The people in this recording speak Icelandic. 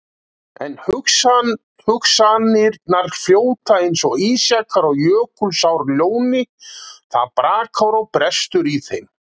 En hugsanirnar fljóta eins og ísjakar á Jökulsárlóni, það brakar og brestur í þeim.